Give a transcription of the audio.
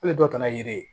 E dɔ taara yiri ye